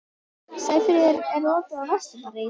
Sæfríður, er opið í Vesturbæjarís?